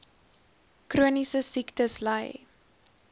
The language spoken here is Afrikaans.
chroniese siektes ly